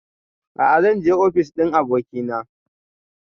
A'a zan je ofis ɗin abokina